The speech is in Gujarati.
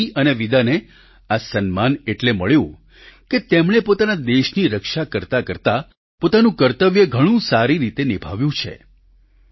સોફી અને વિદાને આ સન્માન એટલે મળ્યું કે તેમણે પોતાના દેશની રક્ષા કરતા કરતા પોતાનું કર્તવ્ય ઘણું સારી રીતે નિભાવ્યું છે